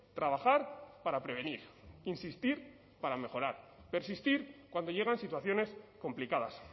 trabajar para prevenir insistir para mejorar persistir cuando llegan situaciones complicadas